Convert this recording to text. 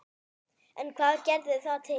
En hvað gerði það til?